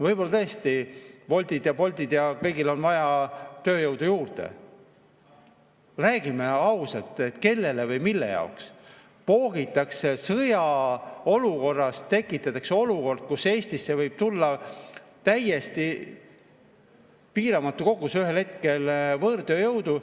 Võib-olla tõesti Woltil ja Boltil ja kõigil on vaja tööjõudu juurde, aga räägime ausalt, kellele või mille jaoks tekitatakse sõjaolukorras olukord, kus Eestisse võib tulla ühel hetkel täiesti piiramatu kogus võõrtööjõudu.